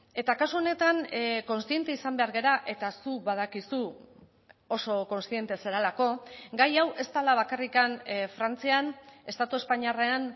eta kasu honetan kontziente izan behar gara eta zuk badakizu oso kontziente zarelako gai hau ez dela bakarrik frantzian estatu espainiarrean